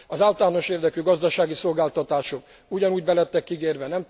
Az általános érdekű gazdasági szolgáltatások ugyanúgy be lettek ígérve.